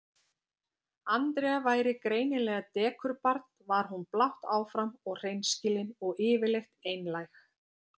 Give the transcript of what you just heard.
Andrea væri greinilega dekurbarn var hún blátt áfram og hreinskilin og yfirleitt einlæg.